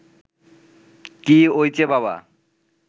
কী ওইচে বাবা